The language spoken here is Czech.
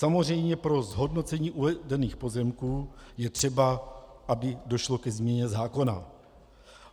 Samozřejmě pro zhodnocení uvedených pozemků je třeba, aby došlo ke změně zákona.